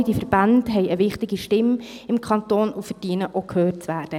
All diese Verbände haben eine wichtige Stimme im Kanton und verdienen es, auch gehört zu werden.